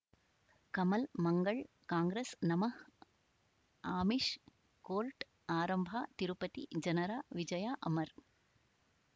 ಕಮಲ್ ಮಂಗಳ್ ಕಾಂಗ್ರೆಸ್ ನಮಃ ಆಮಿಷ್ ಕೋರ್ಟ್ ಆರಂಭ ತಿರುಪತಿ ಜನರ ವಿಜಯ ಅಮರ್